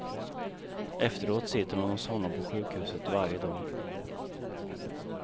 Efteråt sitter hon hos honom på sjukhuset varje dag.